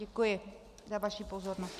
Děkuji za vaši pozornost.